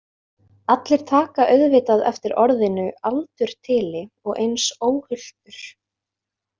Allir taka auðvitað eftir orðinu aldurtili og eins óhultur.